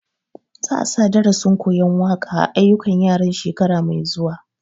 Za a sa darasin koyan waƙa a ayyukan yaran shekara mai zuwa